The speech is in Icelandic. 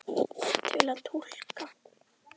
Til að túlka